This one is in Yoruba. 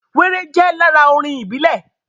Wéré jẹ́ lára orin ìbílẹ̀